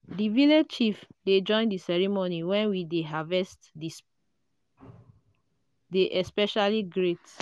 di village chief dey join di ceremony when di harvest dey especially great.